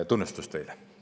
Tunnustus teile.